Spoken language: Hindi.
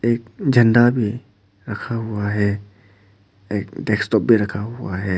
एक झंडा भी रखा हुआ है एक डेस्कटॉप भी रखा हुआ है।